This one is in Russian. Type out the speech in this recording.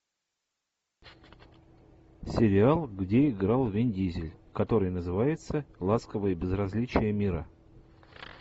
сериал где играл вин дизель который называется ласковое безразличие мира